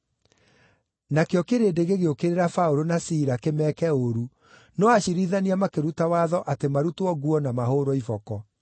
Nakĩo kĩrĩndĩ gĩgĩũkĩrĩra Paũlũ na Sila kĩmeeke ũũru no aciirithania makĩruta watho atĩ marutwo nguo na mahũũrwo iboko.